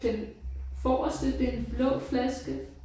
Den forreste det en blå flaske